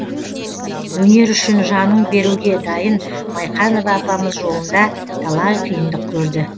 өнер үшін жаның беруге дайын майқанова апамыз жолында талай қиындық көрді